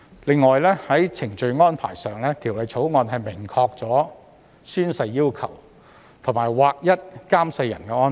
此外，在程序安排上，《條例草案》明確訂明宣誓要求，並劃一監誓人安排。